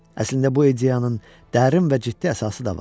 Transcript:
Əslində bu ideyanın dərin və ciddi əsası da var.